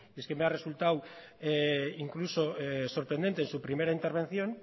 me ha resultado incluso sorprendente que en su primera intervención